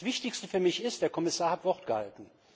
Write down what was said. Das Wichtigste für mich ist Der Kommissar hat Wort gehalten.